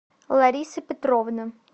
лариса петровна